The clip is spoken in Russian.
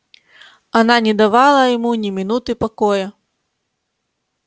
она не давала ему ни минуты покоя